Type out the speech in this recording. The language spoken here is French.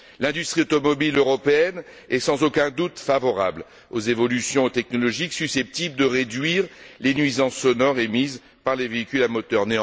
L'industrie automobile européenne est, sans aucun doute, favorable aux évolutions technologiques susceptibles de réduire les nuisances sonores émises par les véhicules à moteur.